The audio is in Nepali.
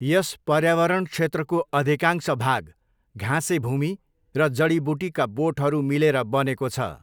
यस पर्यावरण क्षेत्रको अधिकांश भाग घाँसे भूमि र जडीबुटीका बोटहरू मिलेर बनेको छ।